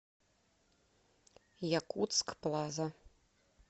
якутск плаза